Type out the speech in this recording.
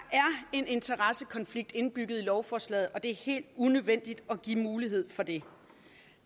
en interessekonflikt indbygget i lovforslaget og det er helt unødvendigt at give mulighed for det